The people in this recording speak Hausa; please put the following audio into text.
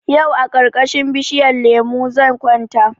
Yau a karkashin bishinyan lemo zan kwanta